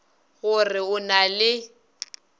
go re o na le